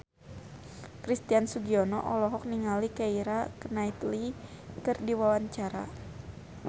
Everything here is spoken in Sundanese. Christian Sugiono olohok ningali Keira Knightley keur diwawancara